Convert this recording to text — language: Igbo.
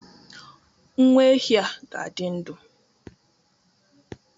Nwa ehi a ga-adị ndụ